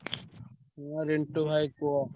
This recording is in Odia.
ହଁ ରିଣ୍ଟୁ ଭାଇ କୁହ।